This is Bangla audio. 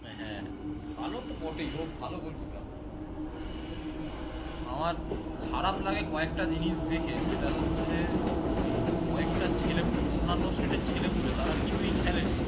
হ্যাঁ, ভালো তো বটেই ও ভালো gol keeper আমার কয়েকটা জিনিস দেখে সেটা হচ্ছে ওই কয়েকটা ছেলেপুলে অন্যান state এর ছেলেপুলে তারা কিছুই খেলেনি